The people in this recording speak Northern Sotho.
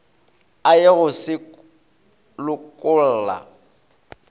a ye go se lokolla